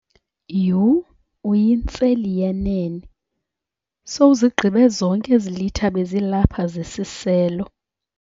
Yhu! Uyintseli yenene, sowuzigqibe zonke ezi litha bezilapha zesiselo.